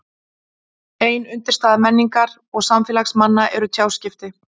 Ein undirstaða menningar og samfélags manna eru tjáskipti.